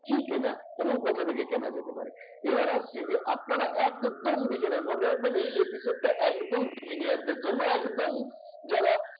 কি কেনা এবং কোথা থেকে কেনা যেতে পারে। এবারে আসছি যে আপনারা একদম beginner মনে রাখবেন এই episode টা একদম beginner দের জন্য একদম যারা